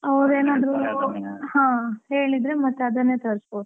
ಹಾ, ಹೇಳಿದ್ರೆ ಮತ್ತೆ ಅದನ್ನೇ ತರಿಸಬೋದು.